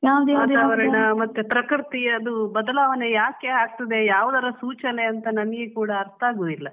ವಾತಾವರಣ ಮತ್ತೆ ಪ್ರಕೃತಿ ಅದು ಬದಲಾವಣೆ ಯಾಕೆ ಆಗ್ತದೆ ಯಾವದರ ಸೂಚನೆ ನಂಗೆ ಕೂಡ ಅರ್ತ ಆಗುದಿಲ್ಲಾ.